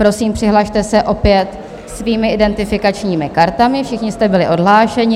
Prosím, přihlaste se opět svými identifikačními kartami, všichni jste byli odhlášeni.